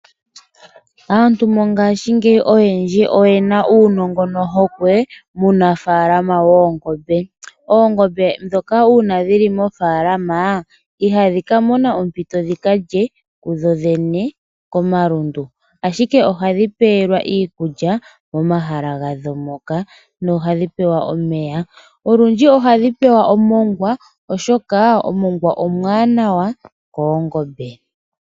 Aantu oyendji mongashingeyi oyena uunongo nohokwe muunafaalama woongombe. Oongombe uuna dhi li mofaalama ihadhi mono ompito dhi kalye kudhodhene momalundu, ashike ohadhi pelwa iikulya nomeya moahala hadho moka. Olundji ohadhi pewa omongwa oshoka omongwa omuwanawa koongombe.